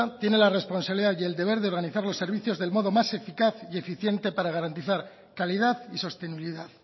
tiene la responsabilidad y el deber de organizar los servicios del modo más eficaz y eficiente para garantizar calidad y sostenibilidad